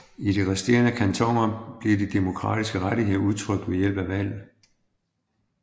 I de resterende kantoner bliver de demokratiske rettigheder udtrykt ved hjælp af valg